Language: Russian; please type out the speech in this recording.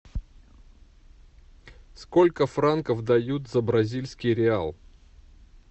сколько франков дают за бразильский реал